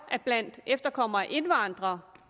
at blandt efterkommere af indvandrere